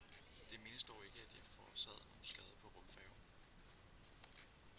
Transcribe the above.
det menes dog ikke at de har forårsaget nogen skade på rumfærgen